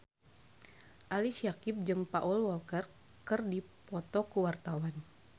Ali Syakieb jeung Paul Walker keur dipoto ku wartawan